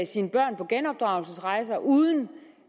sine børn på genopdragelsesrejse uden